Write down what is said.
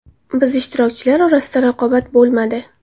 Biz ishtirokchilar orasida raqobat bo‘lmadi.